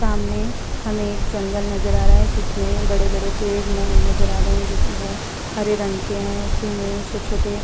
सामने हमें एक जंगल नजर आ रहा है जिसमें बड़े-बड़े पेड़ न नजर आ रहे हैं जिसमें वो हरे रंग के हैं। उसी में छोटे-छोटे --